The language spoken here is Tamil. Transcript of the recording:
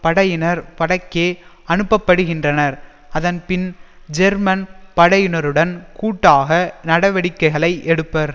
படையினர் வடக்கே அனுப்பப்படுகின்றனர் அதன் பின் ஜெர்மன் படையினருடன் கூட்டாக நடவடிக்கைகளை எடுப்பர்